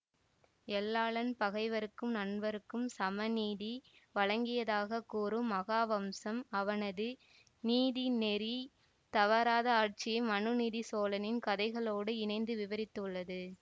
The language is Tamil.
எல்லாளன் பகைவர்க்கும் நண்பர்க்கும் சமநீதி வழங்கியதாக கூறும் மகாவம்சம் அவனது நீதிநெறி தவறாத ஆட்சியை மனுநீதி சோழனின் கதைகளோடு இணைத்து விபரித்துள்ளது